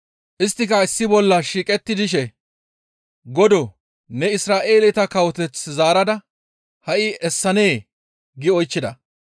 Isttika issi bolla shiiqetti dishe, «Godoo! Ne Isra7eeleta kawoteth zaarada ha7i essanee?» gi oychchida.